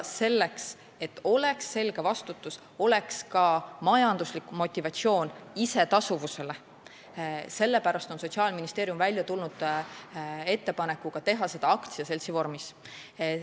Selleks, et oleks selge, kes on vastutaja, ning oleks ka majanduslik motivatsioon isetasuvuse saavutamiseks, on Sotsiaalministeerium välja tulnud ettepanekuga teha seda aktsiaseltsi vormis.